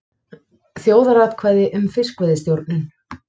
Þjóðaratkvæði um fiskveiðistjórnun